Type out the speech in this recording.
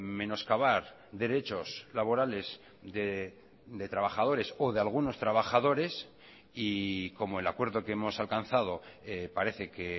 menoscabar derechos laborales de trabajadores o de algunos trabajadores y como el acuerdo que hemos alcanzado parece que